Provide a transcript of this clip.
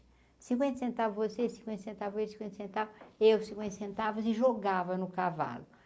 cinquenta centavos você, cinquenta centavos ele, cinquenta centavos eu cinquenta centavos e jogava no cavalo.